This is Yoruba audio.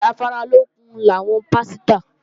Oúnjẹ afáralókun làwọn pásítà